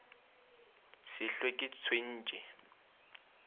se hlwe ke le tshwentše